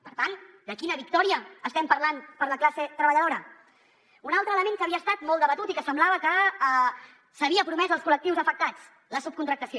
per tant de quina victòria estem parlant per a la classe treballadora un altre element que havia estat molt debatut i que semblava que s’havia promès als col·lectius afectats la subcontractació